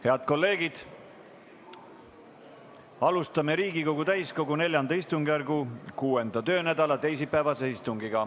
Head kolleegid, alustame Riigikogu täiskogu IV istungjärgu 6. töönädala teisipäevast istungit.